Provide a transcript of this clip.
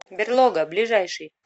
берлога ближайший